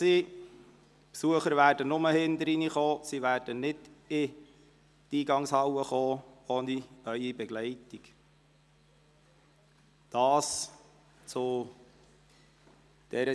Die Besucher werden nur durch den Hintereingang ins Rathaus gelangen und ohne Ihre Begleitung nicht durch die Rathaushalle gelangen.